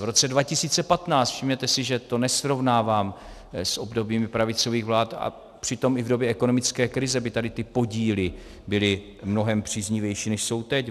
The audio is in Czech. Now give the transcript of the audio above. V roce 2015 - všimněte si, že to nesrovnávám s obdobími pravicových vlád, a přitom i v době ekonomické krize by tady ty podíly byly mnohem příznivější, než jsou teď.